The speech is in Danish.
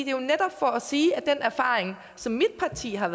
jo netop for at sige at den erfaring som mit parti har